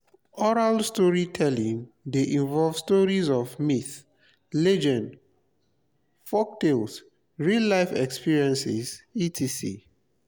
oral storytelling de involve stories of myths legends folktakes real life experience etc.